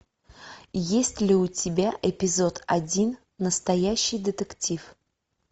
есть ли у тебя эпизод один настоящий детектив